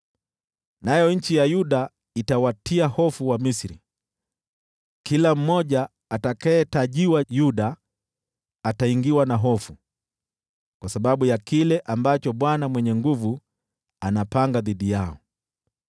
Nayo nchi ya Yuda itawatia hofu Wamisri, kila mmoja atakayetajiwa Yuda ataingiwa na hofu, kwa sababu ya kile ambacho Bwana Mwenye Nguvu Zote anapanga dhidi yao.